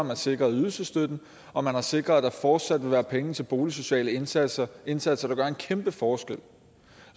man sikret ydelsesstøtten og man har sikret at der fortsat vil være penge til boligsociale indsatser indsatser der gør en kæmpe forskel